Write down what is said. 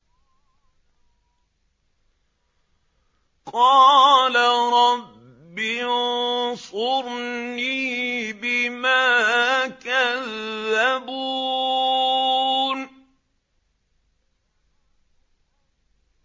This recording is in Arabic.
قَالَ رَبِّ انصُرْنِي بِمَا كَذَّبُونِ